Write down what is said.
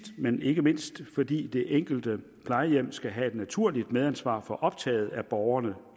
men ikke mindst fordi det enkelte plejehjem skal have et naturligt medansvar for optaget af borgerne